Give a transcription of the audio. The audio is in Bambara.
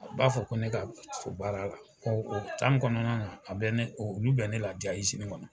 U b'a fɔ ko ne ka baara la, kɔnɔna na a bɛ ne, olu bɛ ne la kɔnɔ